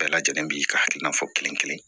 Bɛɛ lajɛlen b'i ka hakilina fɔ kelen kelen